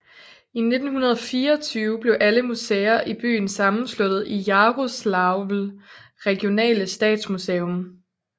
I 1924 blev alle museer i byen sammensluttet i Jaroslavl regionale Statsmuseum